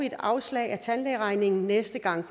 et afslag i tandlægeregningen næste gang